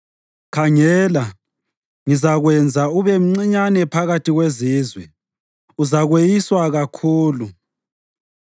“Khangela, ngizakwenza ube mncinyane phakathi kwezizwe; uzakweyiswa kakhulu.